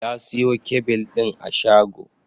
Ya siyo kyabil ɗin a shago